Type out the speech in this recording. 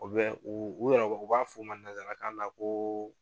U bɛ ,u yɛrɛ u b'a f fɔ a ma nanzarakan na ko